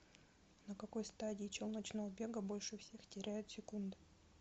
на какой стадии челночного бега больше всех теряют секунды